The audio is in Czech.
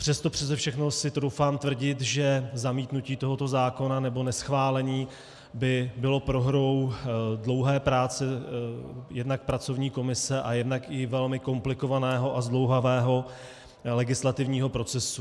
Přes to přese všechno si troufám tvrdit, že zamítnutí tohoto zákona nebo neschválení by bylo prohrou dlouhé práce jednak pracovní komise a jednak i velmi komplikovaného a zdlouhavého legislativního procesu.